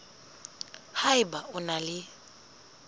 ha eba o na le